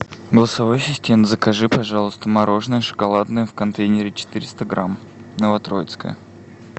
голосовой ассистент закажи пожалуйста мороженое шоколадное в контейнере четыреста грамм новотроицкое